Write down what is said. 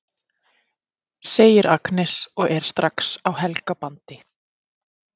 segir Agnes og er strax á Helga bandi.